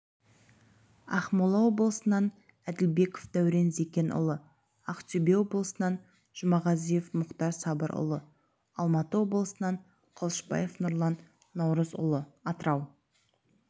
ақмола облысынан әділбеков дәурен зекенұлы ақтөбе облысынан жұмағазиев мұхтар сабырұлы алматы облысынан қылышбаев нұрлан наурызұлы атырау